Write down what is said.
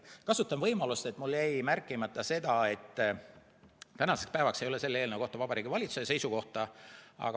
Kasutan võimalust, kuna mul jäi märkimata see, et tänaseks päevaks ei ole selle eelnõu kohta Vabariigi Valitsuse seisukohta.